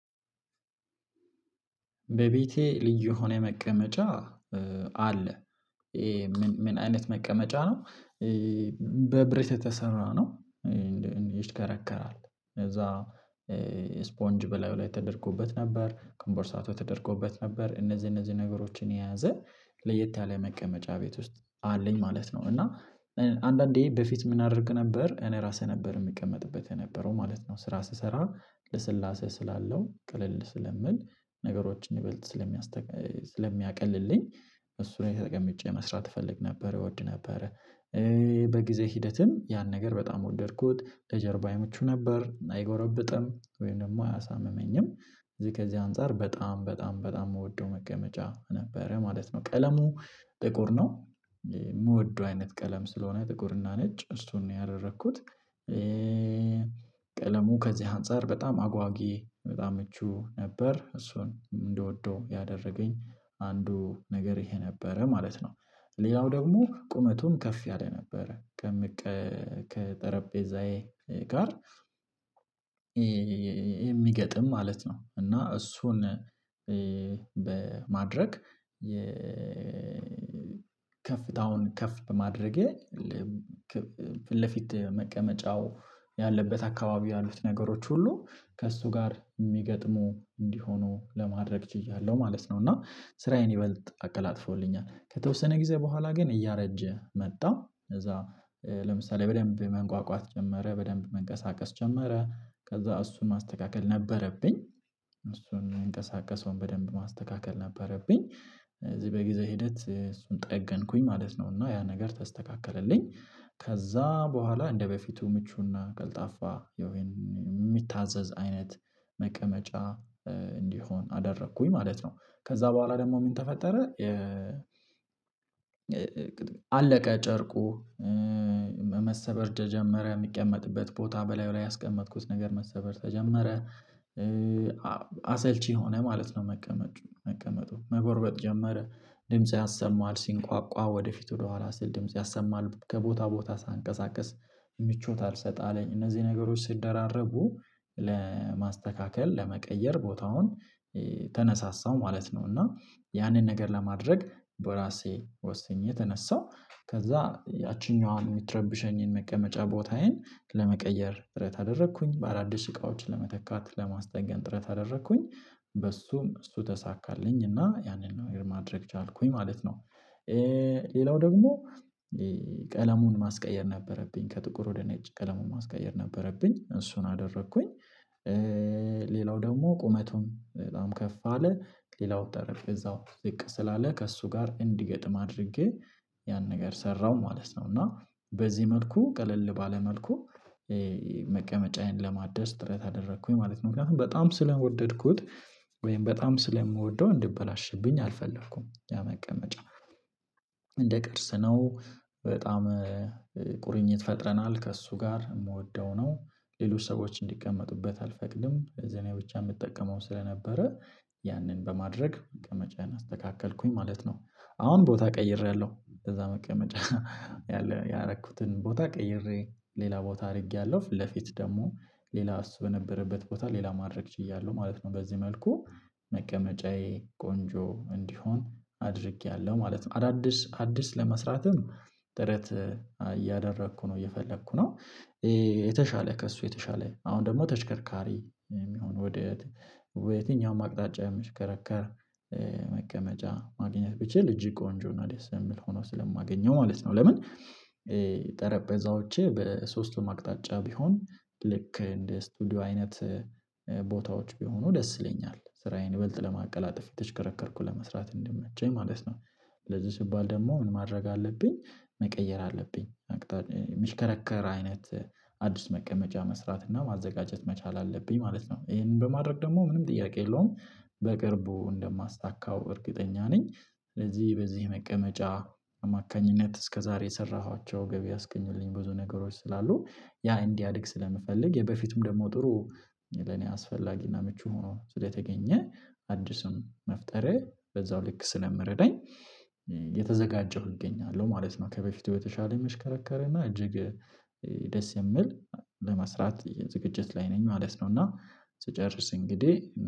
በቤቴ ልዩ የሆነ መቀመጫ አለ። ምን አይነት መቀመጫ ነው? በብረት የተሰራ ነው። ይሽከረከራል ከዛ ስፖንጅ በላይ ላይ ተደርጎበት ነበር ኮምቦርሳቶ ተደርጎበት ነበር እነዚህ እነዚህ ነገሮችን የያዘ ለየት ያለ መቀመጫ ቤት ውስጥ አለኝ ማለት ነው። እና አንዳንዴ በፊት ምን አደርግ ነበር እኔ ራሴ ነበር የምቀመጥበት የነበረው ማለት ነው ስራ ስሰራ ለስላሴ ስላለው ቀለል ስለምል ነገሮችን ይበልጥ ስለሚያስቀቅ ስለሚያቀልልኝ እሱን ተጠቀምጬ መስራት እፈልግ ነበር እወድ ነበር። በጊዜ ሂደትን ያን ነገር በጣም ወደድኩት ለጀርባዬ ምቹ ነበር አይጎረብጥም ወይም ደግሞ አያሳምመኝም እዚህ ከዚህ አንፃር በጣም በጣም በጣም የምወደው መቀመጫ ነበረ ማለት ነው። ቀለሙ ጥቁር ነው የምወደው አይነት ቀለም ስለሆነ ጥቁርና ነጭ እሱን ነው ያደረኩት። ቀለሙ ከዚህ አንፃር በጣም አጓጊ በጣም ምቹ ነበር እሱን እንደወደው ያደረገኝ አንዱ ነገር ይሄ ነበረ ማለት ነው። ሌላው ደግሞ ቁመቱን ከፍ ያለ ነበረ ከምቀ ከጠረጴዛዬ ጋር የሚገጥም ማለት ነው። እና እሱን በማድረግ ከፍታውን ከፍ በማድረጌ ልብ ክብ ፊት መቀመጫው ያለበት አካባቢ ያሉት ነገሮች ሁሉ ከእሱ ጋር የሚገጥሙ እንዲሆኑ ለማድረግ ችያለሁ ማለት ነው። እና ስራዬን ይበልጥ አቀላጥፎልኛል ከተወሰነ ጊዜ በኋላ ግን እያረጀ መጣ ከዛ ለምሳሌ በደንብ መንቋቋት ጀመረ በደንብ መንቀሳቀስ ጀመረ ከዛ እሱን ማስተካከል እሱን ማንቀሳቀስ በደንብ መስተካከል ማንቀሳቀስ ነበረብኝ። እሱን ከዜ በጊዜ ሂደት እሱን ጠገንኩኝ ማለት ነው። ያ ነገር ተስተካከለ ከዛ በኋላ እንደበፊቱ ምቹና ቀልጣፋ የሚታዘዝ አይነት መቀመጫ እንዲሆን አደረኩኝ ማለት ነው። ከዛ በኋላ ደግሞ ምን ተፈጠረ? አለቀ ጨርቁ መሰበር ተጀመረ የሚቀመጥበት ቦታ በላዩ ላይ ያስቀመጥኩት ነገር መሰበር ተጀመረ። አሰልቺ ሆነ ማለት ነው መቀመጡ መቀመጡ መጎርበጥ ጀመረ ድምጽ ያሰማል ሲንቋቋ ወደፊት ወደኋላ ስል ድምጽ ያሰማል ከቦታ ቦታ ሳንቀሳቀስ ምቾት አልሰጠ አለኝ እነዚህ ነገሮች ሲደራረጉ ለማስተካከል ለመቀየር ቦታውን ተነሳሳው ማለት ነው። እና ያንን ነገር ለማድረግ በራሴ ወስኜ ተነሳሁ ከዛ ያቺኛዋን የምትረብሸኝን መቀመጫ ቦታዬን ለመቀየር ጥረት አደረኩኝ ባላደሽ እቃዎችን ለመተካት ለማስጠንቀን ጥረት አደረኩኝ በሱም እሱ ተሳካልኝ እና ያንን ነገር ማድረግ ቻልኩኝ ማለት ነው። ሌላው ደግሞ ቀለሙን ማስቀየር ነበረብኝ ከጥቁር ወደ ነጭ ቀለሙን ማስቀየር ነበረብኝ እሱን አደረኩኝ። ሌላው ደግሞ ቁመቱን በጣም ከፍ አለ ሌላው ጠረጴዛው ዝቅ ስላለ ከእሱ ጋር እንዲገጥም አድርጌ ያን ነገር ሰራሁ ማለት ነው። እና በዚህ መልኩ ቀለል ባለ መልኩ መቀመጫዬን ለማደስ ጥረት አደረኩኝ ማለት ነው። ምክንያቱም በጣም ስለወደድኩት ወይም በጣም ስለምወደው እንድበላሽብኝ አልፈለኩም ያ መቀመጫ እንደ ቀርስ ነው በጣም ቁርኝት ፈጥረናል ከእሱ ጋር የምወደው ነው ሌሎች ሰዎች እንዲቀመጡበት አልፈቅድም እኔ ብቻ የምጠቀመው ስለነበረ ያንን በማድረግ መቀመጫን አስተካከልኩኝ ማለት ነው። አሁን ቦታ ቀይሬያለሁ ከዛ መቀመጫ ያለ ያረኩትን ቦታ ቀይሬ ሌላ ቦታ አድርጌያለሁ ፊት ለፊት ደግሞ ሌላ እሱ በነበረበት ቦታ ሌላ ማድረግ ችያለሁ ማለት ነው በዚህ መልኩ መቀመጫዬ ቆንጆ እንዲሆን አድርጌያለሁ ማለት ነው። አዳዲስ አዲስ ለመስራትም ጥረት እያደረኩ ነው እየፈለኩ ነው። የተሻለ ከእሱ የተሻለ አሁን ደግሞ ተሽከርካሪ የሚሆን ወደየት ወደ የትኛውም አቅጣጫ የምችከረከር መቀመጫ ማግኘት ብቻ ልጅ ቆንጆ እና ደስ የምል ሆኖ ስለማገኘው ማለት ነው። ለምን ጠረጴዛዎቼ በሶስቱም አቅጣጫ ቢሆን ልክ እንደ ስቱዲዮ አይነት ቦታዎች ቢሆኑ ደስ ይለኛል ስራዬን ይበልጥ ለማቀላጠፍ የተሽከረከርኩ ለመስራት እንዲመቸኝ ማለት ነው። ለዚህ ሲባል ደግሞ ምን ማድረግ አለብኝ? መቀየር አለብኝ የሚሽከረከር አይነት አዲስ መቀመጫ መስራት እና ማዘጋጀት መቻል አለብኝ ማለት ነው። ይሄንን በማድረግ ደግሞ ምንም ጥያቄ የለውም። በቅርቡ እንደማስታካው እርግጠኛ ነኝ። ስለዚህ በዚህ መቀመጫ አማካኝነት እስከዛሬ የሰራኋቸው ገቢ ያስገኙልኝ ብዙ ነገሮች ስላሉ ያ እንዲያድግ ስለምፈልግ የበፊቱም ደግሞ ጥሩ ለኔ አስፈላጊና ምቹ ሆኖ ስለተገኘ አዲስም መፍጠሬ በዛው ልክ ስለሚረዳኝ የተዘጋጀሁ እገኛለሁ ማለት ነው። ከበፊቱ በተሻለ የሚሽከረከረ እና እጅግ ደስ የምል ለመስራት የዝግጅት ላይ ነኝ ማለት ነው። እና ስጨርስ እንግዲህ